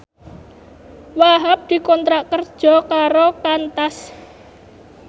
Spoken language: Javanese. Wahhab dikontrak kerja karo Qantas